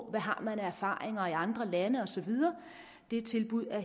man har af erfaringer i andre lande og så videre det tilbud er